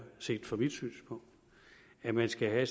set fra mit synspunkt at man skal have